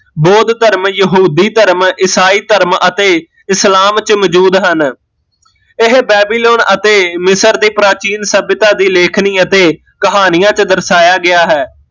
ਬੋਧ ਧਰਮ, ਯਹੂਦੀ ਧਰਮ, ਈਸਾਈ ਧਰਮ ਅਤੇ ਇਸਲਾਮ ਚ ਮੋਜੂਦ ਹਨ ਇਹ ਬੈਬੀਲੋਨ ਅਤੇ ਮਿਸਰ ਦੀ ਪ੍ਰਾਚੀਨ ਸੱਭਿਅਤਾ ਦੀ ਲੇਖਣੀ ਅਤੇ ਕਹਾਣੀਆ ਚ ਦਰਸਾਇਆ ਗਿਆ ਹੈ